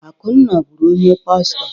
Akunna bụrụ onye pastọ.